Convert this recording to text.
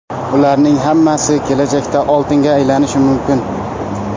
Ularning hammasi kelajakda oltinga aylanishi mumkin.